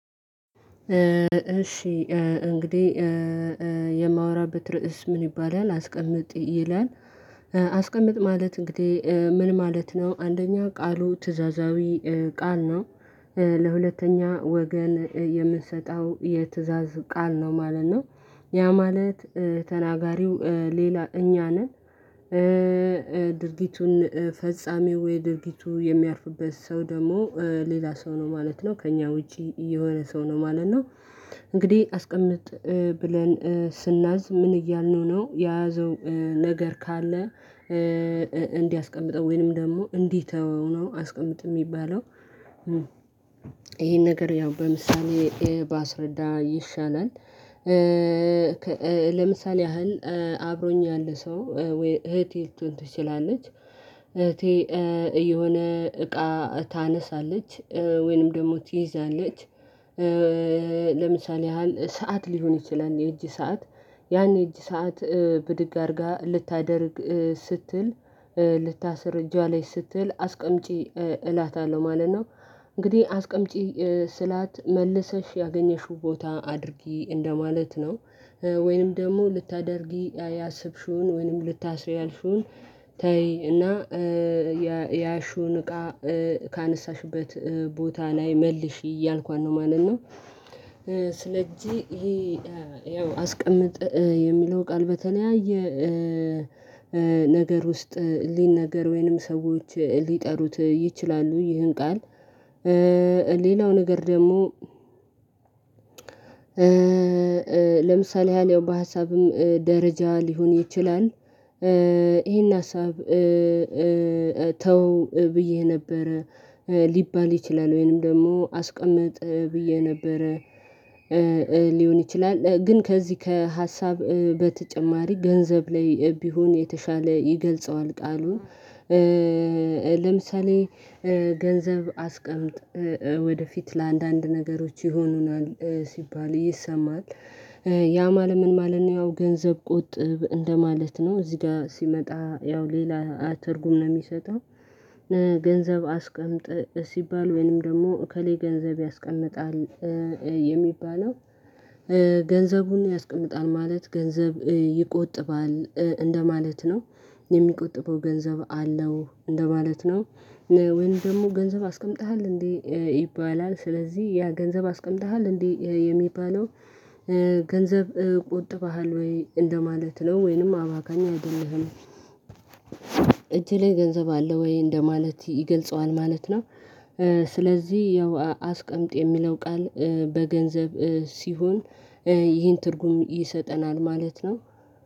እሺ እንግዲህ የማወራበት ርዕስ ምን ይባላል አስቀምጥ ይላል? አስቀምጥ ማለት እንግዲህ ምን ማለት ነው አንደኛ ቃሉ ትእዛዛዊ ቃል ነው። ለሁለተኛ ወገን የምንሰጠው የትእዛዝ ቃል ነው ማለት ነው። ያ ማለት ተናጋሪው ሌላ እኛ ነን ድርጊቱን ፈጻሚው ወይ ድርጊቱ የሚያርፍበት ሰው ደግሞ ሌላ ሰው ነው ማለት ነው ከእኛ ውጪ የሆነ ሰው ነው ማለት ነው። እንግዲህ አስቀምጥ ብለን ስናዝ ምን እያልነው ነው የያዘው ነገር ካለ እንዲያስቀምጠው ወይንም ደግሞ እንዲተው ነው አስቀምጥ የሚባለው። ይሄን ነገር ያው በምሳሌ ባስረዳ ይሻላል። ለምሳሌ ያህል አብሮኝ ያለ ሰው ወይ እህቴ ልትሆን ትችላለች። እህቴ የሆነ እቃ ታነሳለች ወይንም ደግሞ ትይዛለች። ለምሳሌ ያህል ሰዓት ሊሆን ይችላል የእጅ ሰዓት ያኔ እጅ ሰዓት ብድግ አድርጋ ልታደርግ ስትል ልታስር እጇ ላይ ስትል አስቀምጪ እላታለሁ ማለት ነው። እንግዲህ አስቀምጪ ስላት መልሰሽ ያገኘሽው ቦታ አድርጊ እንደማለት ነው። ወይንም ደግሞ ልታደርጊ ያሰብሽውን ወይንም ልታስሪ ያልሽውን ተይ እና ያሹን እቃ ካነሳሽበት ቦታ ላይ መልሺ እያልኳት ነው ማለት ነው። ስለ እጄ ይሄ ያው አስቀምጥ የሚለው ቃል በተለያየ ነገር ውስጥ ሊነገር ወይንም ሰዎች ሊጠሩት ይችላሉ ይህን ቃል። ሌላው ነገር ደግሞ ለምሳሌ ያለው በሀሳብም ደረጃ ሊሆን ይችላል። ይሄን ሀሳብ ተው ብዬ ነበር ሊባል ይችላል ወይንም ደግሞ አስቀምጥ ብዬ ነበር። ሊሆን ይችላል ግን ከዚህ ከሀሳብ በተጨማሪ ገንዘብ ላይ ቢሆን የተሻለ ይገልጸዋል ቃሉን። ለምሳሌ ገንዘብ አስቀምጥ ወደፊት ለአንዳንድ ነገሮች ይሆኑናል ሲባል ይሰማል ያ ማለት ምን ማለት ያው ገንዘብ ቆጥብ እንደማለት ነው እዚህ ጋር ሲመጣ ያው ሌላ ትርጉም ነው የሚሰጠው። ገንዘብ አስቀምጥ ሲባል ወይንም ደግሞ እከሌ ገንዘብ ያስቀምጣል የሚባለው ገንዘቡን ያስቀምጣል ማለት ገንዘብ ይቆጥባል እንደማለት ነው የሚቆጥበው ገንዘብ አለው እንደማለት ነው። ወይንም ደግሞ ገንዘብ አስቀምጠሃል እንዴ ይባላል ስለዚህ ያ ገንዘብ አስቀምጠሃል እንዴ የሚባለው ገንዘብ ቆጥበሀል ወይ እንደማለት ነው ወይንም አባካኝ አይደለህም? እጅህ ላይ ገንዘብ አለ ወይ እንደማለት ይገልጸዋል ማለት ነው። ስለዚህ ያው አስቀምጥ የሚለው ቃል በገንዘብ ሲሆን ይህን ትርጉም ይሰጠናል ማለት ነው።